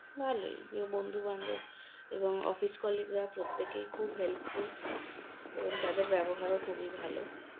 ভালোই প্রিয় বন্ধুবান্ধব এবং office colleague -রা প্রত্যেকেই খুব helpful এবং তাদের ব্যবহারও খুবই ভালো